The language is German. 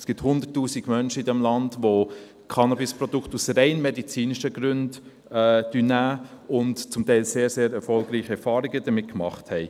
Es gibt 100’000 Menschen in diesem Land, die Cannabisprodukte aus rein medizinischen Gründen nehmen und zum Teil sehr, sehr erfolgreiche Erfahrungen damit gemacht haben.